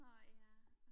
nå ja